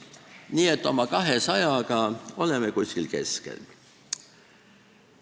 Nii et oma 200-ga oleme kuskil keskel.